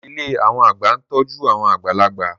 Ilé àwọn àgbà ń tọ́jú àwọn àgbàlagbà